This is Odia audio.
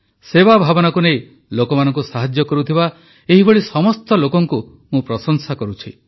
ସେବା ଭାବନାକୁ ନେଇ ଲୋକମାନଙ୍କୁ ସାହାଯ୍ୟ କରୁଥିବା ଏଭଳି ସମସ୍ତ ଲୋକଙ୍କୁ ମୁଁ ପ୍ରଶଂସା କରୁଛି